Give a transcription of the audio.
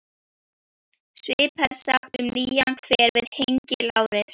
Höfuðbólið var heldur reisulegra en hjáleigan.